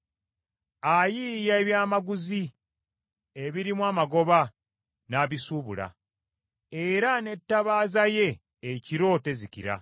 Ayiiya ebyamaguzi ebirimu amagoba n’abisuubula, era n’ettabaaza ye ekiro tezikira.